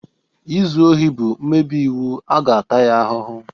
Izu ohi bụ mmebi iwu a ga-ata ya ahụhụ.